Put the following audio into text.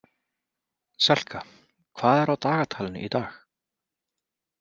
Selka, hvað er á dagatalinu í dag?